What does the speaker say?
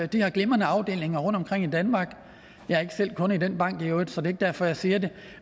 de har glimrende afdelinger rundtomkring i danmark jeg er ikke selv kunde i den bank i øvrigt så det ikke derfor at jeg siger det